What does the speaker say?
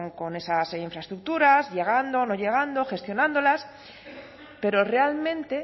con esas infraestructuras llegando no llegando gestionándolas pero realmente